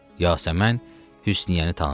Yasəmən Hüsnüyyəni tanıdı.